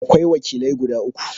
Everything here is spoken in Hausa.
Akwai wakilai guda uku.